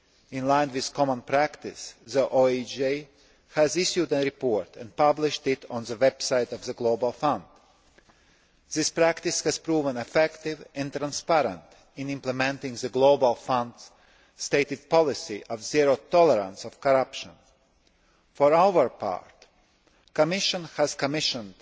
in line with common practice, the OIG has issued a report and published it on the website of the Global Fund. This practice has proven effective and transparent in implementing the Global Fund's stated policy of zero tolerance of corruption. For our part, the Commission has commissioned